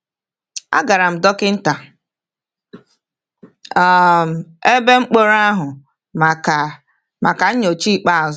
A gara dọkịta um ebe mkpọrọ ahụ maka maka nyocha ikpeazụ.